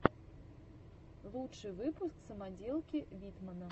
лучший выпуск самоделки витмана